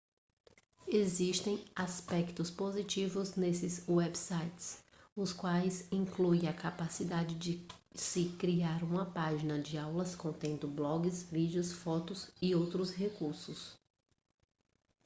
existem aspectos positivos nestes websites os quais incluem a capacidade de se criar uma página de aulas contendo blogs vídeos fotos e outros recursos